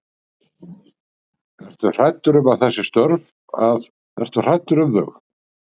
Ertu hræddur um þessi störf að, ertu hræddur um þau?